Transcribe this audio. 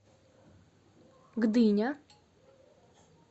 гдыня